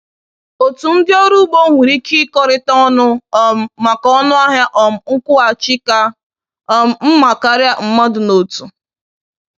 Otu ndị ọrụ ugbo nwere ike ịkọrịta ọnụ um maka ọnụahịa um nkwụghachi ka um mma karịa mmadụ n’otu.